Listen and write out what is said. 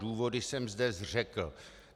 Důvody jsem zde řekl.